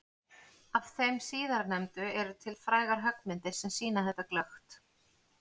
Af þeim síðarnefndu eru til frægar höggmyndir sem sýna þetta glöggt.